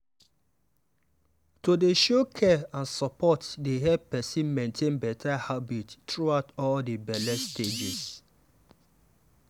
to dey show care and support dey help person maintain better habits throughout all the belle stages.